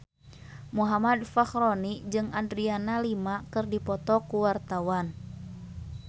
Muhammad Fachroni jeung Adriana Lima keur dipoto ku wartawan